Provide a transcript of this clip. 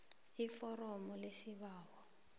iforomo lesibawo